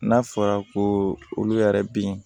N'a fɔra ko olu yɛrɛ bɛ yen